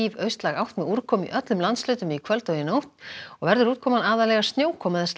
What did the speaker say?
austlæg átt með úrkomu í öllum landshlutum í kvöld og nótt og verður úrkoman aðallega snjókoma eða